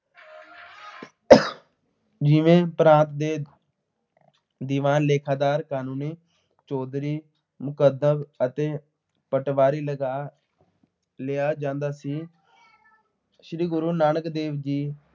ਪ੍ਰਾਂਤ ਦੇ ਦੀਵਾਨ ਲੇਖਾਦਾਰ ਕਾਨੂੰਨੀ ਚੌਧਰੀ, ਅਤੇ ਪਟਵਾਰੀ ਲਗਾ ਲਿਆ ਜਾਂਦਾ ਸੀ। ਸ੍ਰੀ ਗੁਰੂ ਨਾਨਕ ਦੇਵ ਜੀ।